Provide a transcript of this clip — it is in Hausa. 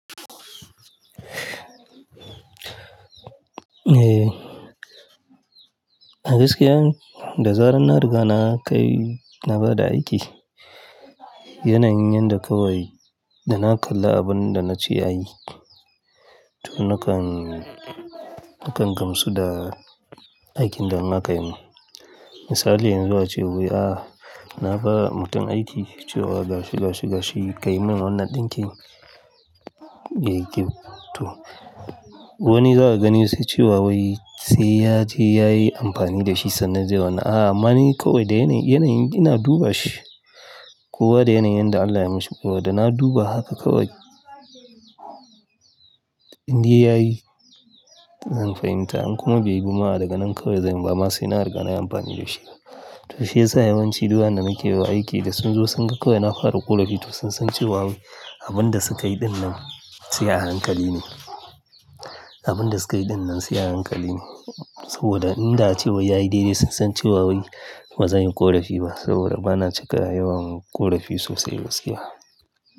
Eh, a gaskiya, da zarar na riga na kai, na bada aiki, yana yin yanda kawai da na kalla abun da na ce ya yi, to nakan, nakan gamsu da aikin da na kan yi. Misali yanzu ace wai, ah na ba mutum aiki cewa ga shi, ga shi, ga shi ka yi min wannan ɗinkin, ya yi kyau to wani za a gani sai cewa wai sai ya je ya yi amfani da shi sannan zai wannan, a amma ni kawai da yanayi, yanayin ina duba shi. Kowa da yanayin da Allah ya mishi kawai da na duba haka kawai. In dai ya yi, zan fahimta in kuma bai yi ba kuma daga nan kawai zan yi ba ma sai na riga na yi amfani da shi. To shiyasa yawan ci duk Waƴanda nake wa aiki da sun zo sun ga kawai na fara ƙorafi to sun san cewa wai abin da sukayi ɗinnan sai a hankali ne. Abin da sukayi ɗinnan sai a hankali ne. Saboda in da ace wai ya yi dai dai sun san cewa wai bazan yi ƙorafi ba saboda bana cika yawan ƙorafi sosai gaskiya.